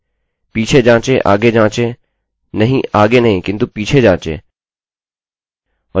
पीछे जाँचे आगे जाँचें नहींआगे नहीं किन्तु पीछे जाँचें और देखिये यदि आप कुछ ठीक कर सकते हो